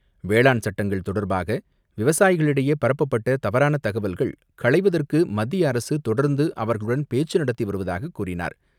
வேளாண் சட்டங்கள் தொடர்பாக, விவசாயிகளிடையே பரப்பப்பட்ட தவறான தகவல்கள் களைவதற்கு மத்திய அரசு தொடர்ந்து அவர்களுடன் பேச்சு நடத்தி வருவதாக கூறினார்.